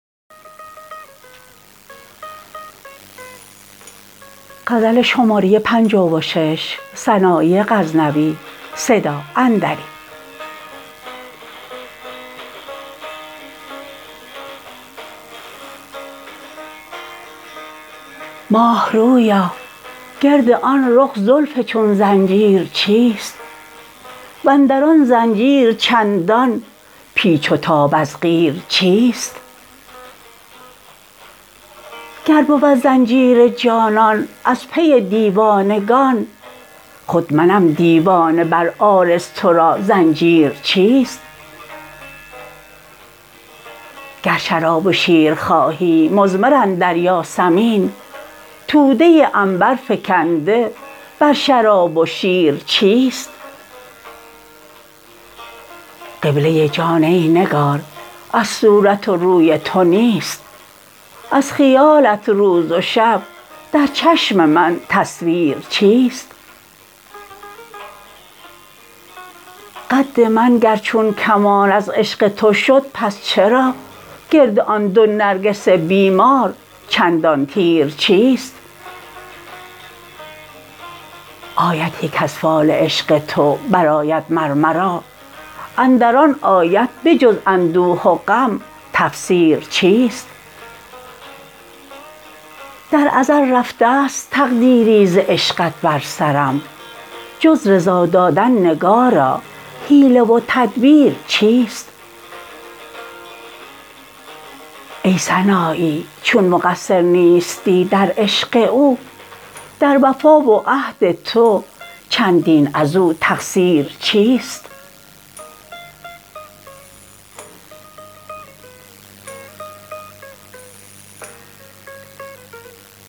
ماه رویا گرد آن رخ زلف چون زنجیر چیست وندران زنجیر چندان پیچ و تاب از قیر چیست گر بود زنجیر جانان از پی دیوانگان خود منم دیوانه بر عارض تو را زنجیر چیست گر شراب و شیر خواهی مضمر اندر یاسمین توده عنبر فگنده بر شراب و شیر چیست قبله جان ای نگار از صورت و روی تو نیست از خیالت روز و شب در چشم من تصویر چیست قد من گر چون کمان از عشق تو شد پس چرا گرد آن دو نرگس بیمار چندان تیر چیست آیتی کز فال عشق تو برآید مر مرا اندر آن آیت به جز اندوه و غم تفسیر چیست در ازل رفته ست تقدیری ز عشقت بر سرم جز رضا دادن نگارا حیله و تدبیر چیست ای سنایی چون مقصر نیستی در عشق او در وفا و عهد تو چندین ازو تقصیر چیست